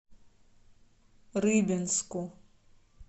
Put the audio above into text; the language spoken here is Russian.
рыбинску